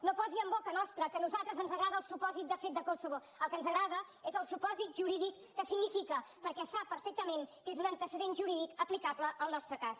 no posi en boca nostra que a nosaltres ens agrada el supòsit de fet de kosovo el que ens agrada és el supòsit jurídic que significa perquè sap perfectament que és un antecedent jurídic aplicable al nostre cas